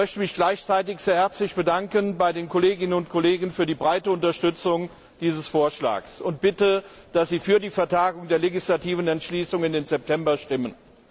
Ich möchte mich gleichzeitig sehr herzlich bei den Kolleginnen und Kollegen für die breite Unterstützung dieses Vorschlags bedanken und bitte, dass sie für die Vertagung der legislativen Entschließung auf September stimmen.